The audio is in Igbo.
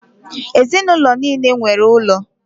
Ezinụlọ nile nwere ụlọ.